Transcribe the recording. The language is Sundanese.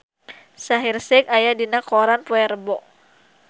Shaheer Sheikh aya dina koran poe Rebo